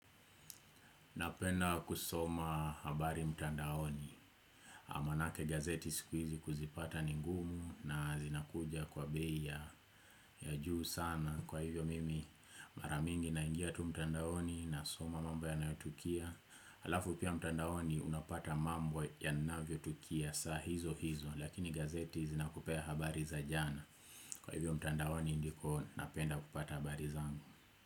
Napenda kusoma habari mtandaoni maanake gazeti sikuizi kuzipata ningumu na zinakuja kwa bei ya juu sana kwa hivyo mimi maramingi naingia tu mtandaoni na soma mambo ya nayotukia Halafu pia mtandaoni unapata mambo ya navyo tukia saa hizo hizo Lakini gazeti zinakupea habari za jana Kwa hivyo mtandaoni ndiko napenda kupata habari zangu.